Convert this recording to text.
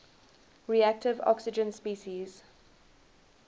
reactive oxygen species